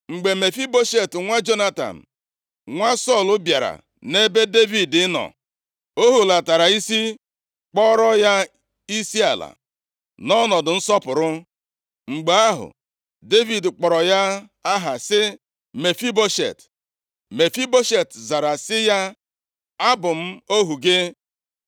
Mgbe Mefiboshet nwa Jonatan, nwa Sọl, bịara nʼebe Devid nọ, o hulatara isi, kpọọrọ ya isiala, nʼọnọdụ nsọpụrụ. Mgbe ahụ, Devid kpọrọ ya aha sị, “Mefiboshet,” Mefiboshet zara sị ya, “A bụ m ohu gị.”